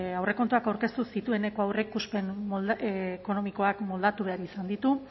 aurrekontuak aurkeztu zitueneko aurreikuspen ekonomikoak moldatu behar izan ditu